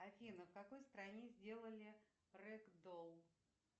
афина в какой стране сделали рэгдолл